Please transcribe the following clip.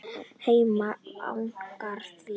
Hemmi jánkar því.